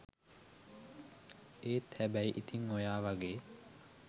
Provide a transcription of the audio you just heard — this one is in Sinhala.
ඒත් හැබැයි ඉතිං ඔයා වගේ